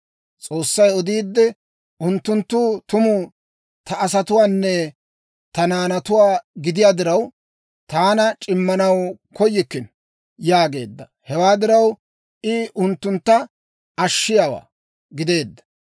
S'oossay odiidde, «Unttunttu tumu ta asatuwaanne ta naanatuwaa gidiyaa diraw, taana c'immanaw koyikkino» yaageedda. Hewaa diraw, I unttuntta Ashshiyaawaa gideedda.